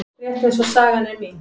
Rétt eins og sagan er mín.